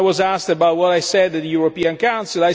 I was asked about what I said at the European Council.